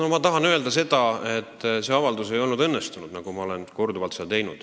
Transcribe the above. Ma tahan öelda, nagu ma olen korduvalt öelnud, et see avaldus ei olnud õnnestunud.